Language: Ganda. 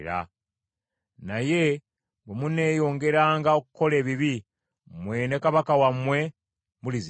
Naye bwe muneeyongeranga okukola ebibi, mmwe ne kabaka wammwe mulizikirizibwa.”